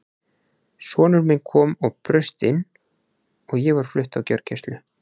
Sonur minn kom og braust inn og ég var flutt á gjörgæslu.